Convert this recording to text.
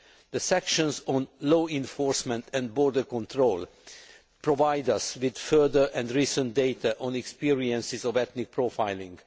The sections on law enforcement and border control provide us with further and recent data on experiences of ethnic profiling.